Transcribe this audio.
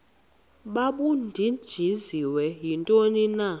babudunjiswe yintoni na